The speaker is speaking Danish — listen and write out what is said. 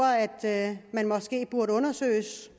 at man måske burde undersøges